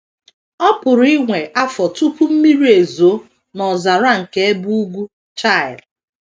Ọ PỤRỤ iwe afọ tupu mmiri ezoo n’ọzara nke ebe ugwu Chile.